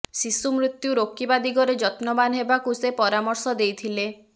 ଶିଶୁ ମୃତ୍ୟୁ ରୋକିବା ଦିଗରେ ଯତ୍ନବାନ ହେବାକୁ ସେ ପରାମର୍ଶ ଦେଇଥିଲେ